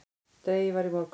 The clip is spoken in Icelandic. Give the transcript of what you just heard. Dregið var í morgun